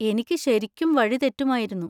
എനിക്ക് ശരിക്കും വഴി തെറ്റുമായിരുന്നു.